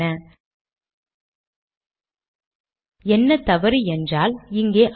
மீண்டும் கம்பைல் செய்கிறேன்